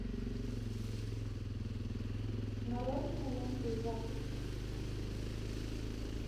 нарой киноленту из африки